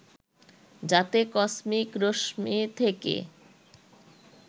যাতে কসমিক রশ্মি থেকে